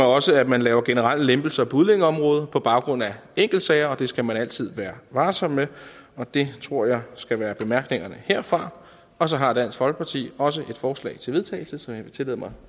også at man laver generelle lempelser på udlændingeområdet på baggrund af enkeltsager og det skal man altid være varsom med det tror jeg skal være bemærkningerne herfra og så har dansk folkeparti også et forslag til vedtagelse som jeg vil tillade mig